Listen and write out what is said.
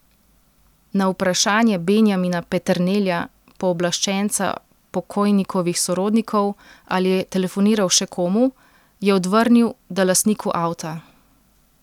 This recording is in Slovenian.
Na vprašanje Benjamina Peternelja, pooblaščenca pokojnikovih sorodnikov, ali je telefoniral še komu, je odvrnil, da lastniku avta.